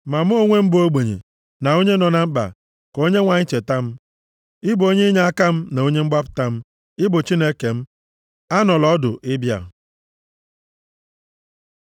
Ma mụ onwe m bụ m ogbenye na onye nọ na mkpa; ka Onyenwe anyị cheta m. Ị bụ onye inyeaka m na onye mgbapụta m; Ị bụ Chineke m, anọla ọdụ ịbịa.